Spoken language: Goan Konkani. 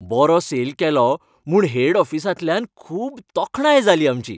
बरो सेल केलो म्हूण हेड ऑफिसांतल्यान खूब तोखणाय जाली आमची.